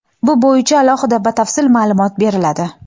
bu bo‘yicha alohida batafsil ma’lumot beriladi.